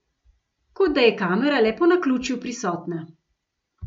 Kot da je kamera le po naključju prisotna.